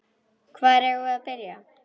Hvar eigum við að byrja?